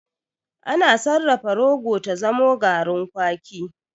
Ana sarrafa rogo ta zamo garin kwaki.